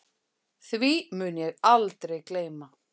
Því mun ég aldrei gleyma.